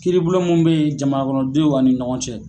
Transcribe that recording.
Kiiribolo mun be yen jamanakɔnɔdenw a ni ɲɔgɔn cɛ